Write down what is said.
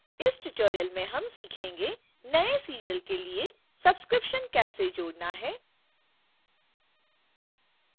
इस tutorial में हम सीखेंगेःनए serial के लिए subscription कैसे जोड़ना है